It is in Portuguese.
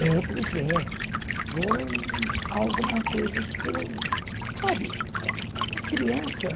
É, pois é. Foi alguma coisa que eu... Sabe, é é uma criança.